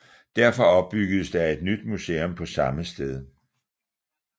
Derfor opbyggedes der et nyt museum på samme sted